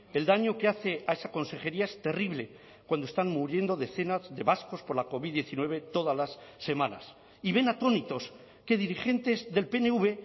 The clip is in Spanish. el daño que hace a esa consejería es terrible cuando están muriendo decenas de vascos por la covid diecinueve todas las semanas y ven atónitos que dirigentes del pnv